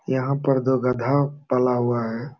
यहाँ पर दो गधा पला हुआ है।